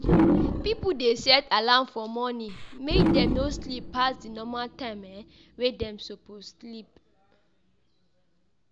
Pipo de set alarm for morning make dem no sleep pass di normal time dey suppose sleep